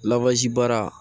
Lawaji baara